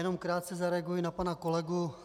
Jenom krátce zareaguji na pana kolegu.